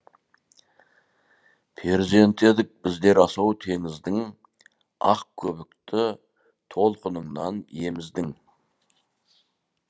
перзенті едік біздер асау теңіздің ақ көбікті толқыныңнан еміздің